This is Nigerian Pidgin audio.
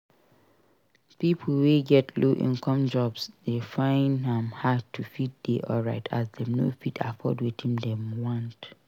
Pipo wey get low income jobs de find am hard to fit dey alright as dem no fit afford wetin dem want